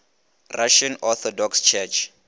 russian orthodox church